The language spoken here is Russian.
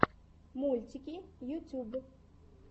мультики ютьюб